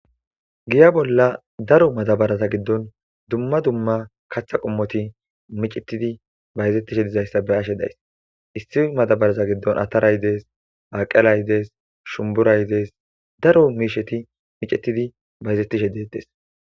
Giya bolla daro matabaraza giddon dumma dumma katha qommoti micetidi bayzettishe dizayssa be ashe days issi matabaraza giddon ataraydees aqelaydees shumburaydees daro miisheti micetidi bayzetishe deettes.